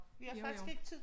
Vi har faktisk ikke tid